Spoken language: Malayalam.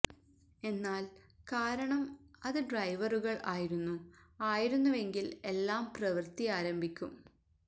എന്നാൽ കാരണം അത് ഡ്രൈവറുകൾ ആയിരുന്നു ആയിരുന്നുവെങ്കിൽ എല്ലാം പ്രവൃത്തി ആരംഭിക്കും